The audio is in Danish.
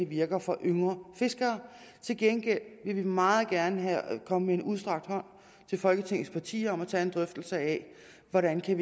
virker for yngre fiskere til gengæld vil vi meget gerne komme med en udstrakt hånd til folketingets partier og tage en drøftelse af hvordan vi